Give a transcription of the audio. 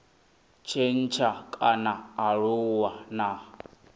tshintsha kana a aluwa na